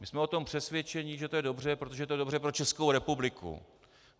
My jsme o tom přesvědčeni, že to je dobře, protože to je dobře pro Českou republiku.